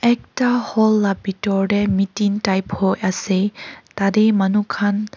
ekta hall la bitor tey meeting type hoi ase tatey manu khan--